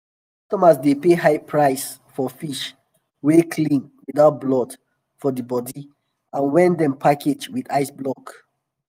customers dey pay high price for fish wey clean without blood for di bodi and wen dem package with ice block.